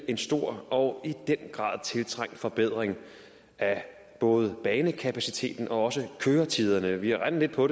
en stor og i den grad tiltrængt forbedring af både banekapaciteten og køretiderne vi har regnet på